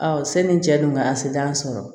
sani n cɛ don nka a se t'an sɔrɔ